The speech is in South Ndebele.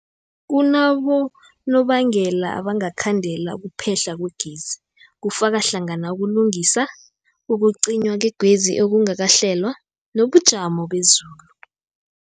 Kunabonobangela abangakhandela ukuphehlwa kwegezi, kufaka hlangana ukulungisa, ukucinywa kwegezi okungakahlelwa, nobujamo bezulu.